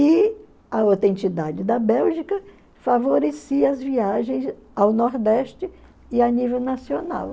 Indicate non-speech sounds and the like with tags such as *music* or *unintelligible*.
E a *unintelligible* da Bélgica favorecia as viagens ao Nordeste e a nível nacional.